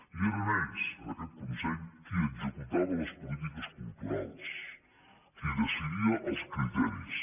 i eren ells en aquest consell qui executaven les polítiques culturals qui decidia els criteris